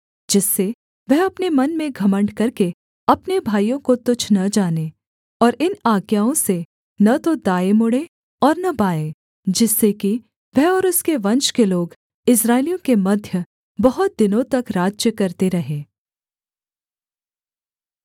जिससे वह अपने मन में घमण्ड करके अपने भाइयों को तुच्छ न जाने और इन आज्ञाओं से न तो दाएँ मुड़ें और न बाएँ जिससे कि वह और उसके वंश के लोग इस्राएलियों के मध्य बहुत दिनों तक राज्य करते रहें